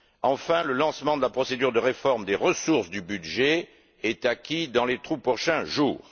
Enfin, le lancement de la procédure de réforme des ressources du budget est acquis dans les tout prochains jours.